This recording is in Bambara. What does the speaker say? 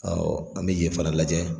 an be ye fana lajɛ